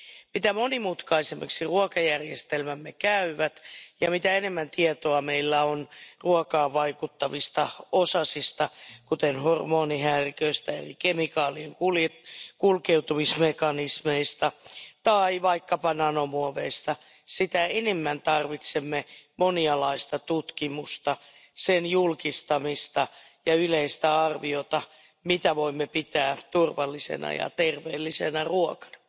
Mitä monimutkaisemmaksi ruokajärjestelmämme käyvät ja mitä enemmän tietoa meillä on ruokaan vaikuttavista osasista, kuten hormonihäiriköistä, eri kemikaalien kulkeutumismekanismeista tai vaikkapa nanomuoveista, sitä enemmän tarvitsemme monialaista tutkimusta, sen julkistamista ja yleistä arviota siitä, mitä voimme pitää turvallisena ja terveellisenä ruokana.